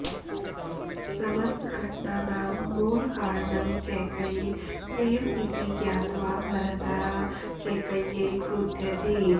समस्तघटनानां मूलकारणं कैकेयी एव इति ज्ञात्वा भरतः कैकेय्यै क्रुध्यति